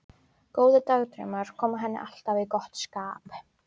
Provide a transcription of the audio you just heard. Góðir dagdraumar koma henni alltaf í gott skap.